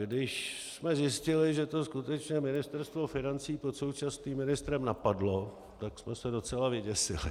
Když jsme zjistili, že to skutečně Ministerstvo financí pod současným ministrem napadlo, tak jsme se docela vyděsili.